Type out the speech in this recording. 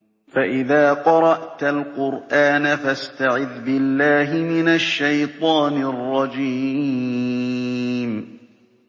فَإِذَا قَرَأْتَ الْقُرْآنَ فَاسْتَعِذْ بِاللَّهِ مِنَ الشَّيْطَانِ الرَّجِيمِ